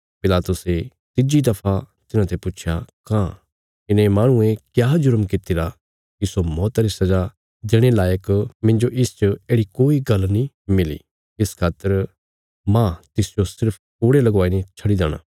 पिलातुसे तिज्जी दफा तिन्हाते पुच्छया कांह इने माहणुये क्या जुरम कीतिरा इस्सो मौता री सजा देणे लायक मिन्जो इसच येढ़ि कोई गल्ल नीं मिली इस खातर माह इसजो सिर्फ कोड़े लवाई ने छडी देणा